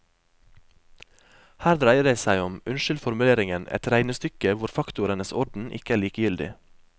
Her dreier det seg om, unnskyld formuleringen, et regnestykke hvor faktorenes orden ikke er likegyldig.